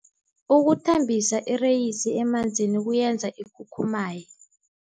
Ukuthambisa ireyisi emanzini kuyenza ikhukhumaye.